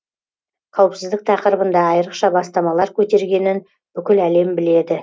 қауіпсіздік тақырыбында айрықша бастамалар көтергенін бүкіл әлем біледі